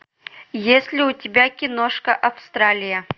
есть ли у тебя киношка австралия